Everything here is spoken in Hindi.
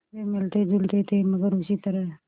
वे मिलतेजुलते थे मगर उसी तरह